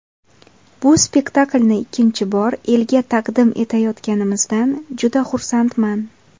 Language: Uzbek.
Bu spektaklni ikkinchi bor elga taqdim etayotganimizdan juda xursandman.